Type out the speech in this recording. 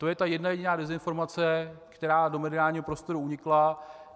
To je ta jedna jediná dezinformace, která do mediálního prostoru unikla.